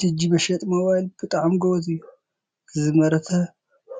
ጂጂ መሸጢ ሞባይል ብጣዕሚ ጎበዝ እዩ፡፡ ዝመረተ